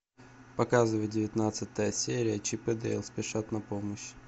показывай девятнадцатая серия чип и дейл спешат на помощь